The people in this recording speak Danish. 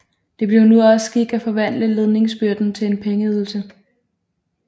Det blev nu også skik at forvandle ledingsbyrden til en pengeydelse